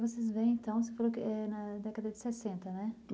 Vocês vêm, então, você falou que é na década de sessenta, né?